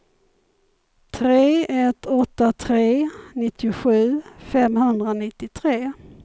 tre ett åtta tre nittiosju femhundranittiotre